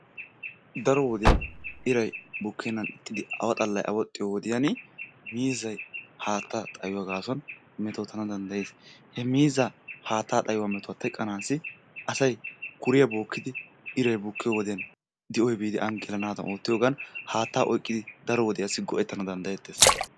Daro wodiyan iray bukkennan ixxidi awa xallay awaxxiyo wodiyani miizzay haattaa xayuwa gaasuwan metootanawu danddayees. He miizzaa haattaa xayuwa metuw teqqanaassi asay kuriya bookkidi iray bukkiyo wodiyan di'oy biidi aani gelanaadan oottiyogan haattaa oyqqidi daro wodiyassi go'ettana danddayettees.